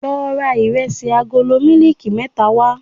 Lọ ra Ìrẹsì agolo mílíìkì mẹ́ta wá.